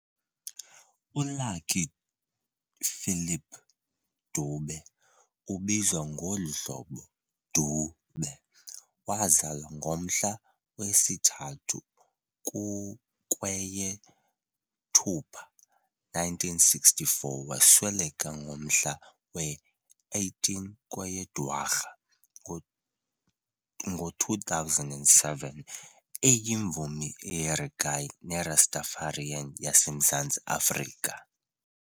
ULucky Philip Dube, ubizwa ngolu hlobo"doo-beh", wazalwa ngomhla wesi-3 kukweyeThupha ngo1964 - wasweleka ngomhla we-18 kweyeDwarha ngo2007 eyimvumi yereggae neRastafarian yaseMzantsi Afrika.